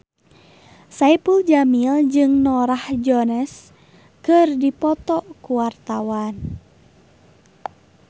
Saipul Jamil jeung Norah Jones keur dipoto ku wartawan